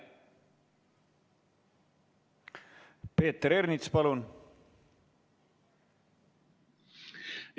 Peeter Ernits, palun!